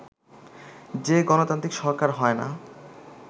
যে গণতান্ত্রিক সরকার হয় না